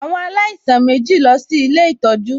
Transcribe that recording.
Àwọn alaisan mèjí lọ sí Ilé ìtọ́jú